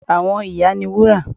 Àwọn ìyá ni Wúrà